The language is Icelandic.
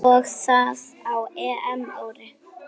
Og það á EM-ári.